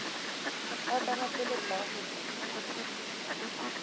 a ka gapeletšwago go di